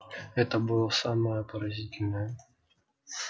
это было самое поразительное